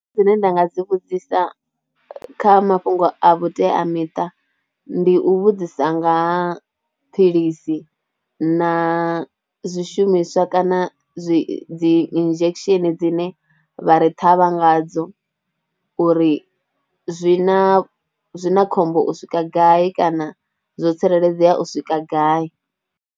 Zwine nda nga dzi vhudzisa kha mafhungo a vhuteamiṱa ndi u vhudzisa nga ha philisi na zwishumiswa kana zwi dzi injection dzine vha ri thavha ngadzo uri zwi na khombo u swika gai kana zwo tsireledzea u swika gai.